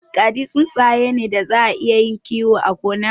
Kaji tsuntsaye ne daza a iya yin kiyo a gona.